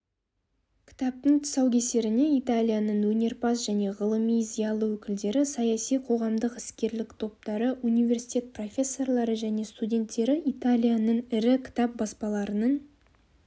кітаптың тұсау кесеріне италияның өнерпаз және ғылыми зиялы өкілдері саяси қоғамдық іскерлік топтары университет профессорлары және студенттері италияның ірі кітап баспаларының